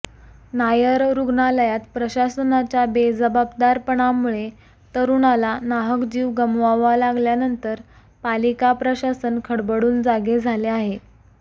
नायर रुग्णालयात प्रशासनाच्या बेजबाबदारपणामुळे तरुणाला नाहक जीव गमवावा लागल्यानंतर पालिका प्रशासन खडबडून जागे झाले आहे